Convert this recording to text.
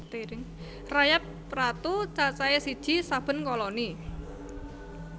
Rayap ratu cacahé siji saben koloni